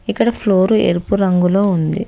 ఇక్కడ ఫ్లోరు ఎరుపు రంగులో ఉంది.